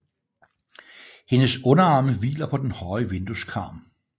Hendes underarme hviler på den høje vindueskarm